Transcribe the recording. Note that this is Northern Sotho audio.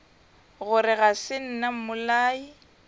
gore ga se nna mmolai